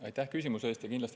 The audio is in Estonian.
Aitäh küsimuse eest!